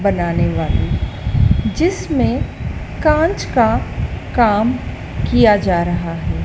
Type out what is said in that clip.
बनाने वाली जिसमें कांच का काम किया जा रहा है।